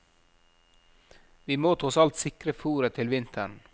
Vi må tross alt sikre fôret til vinteren.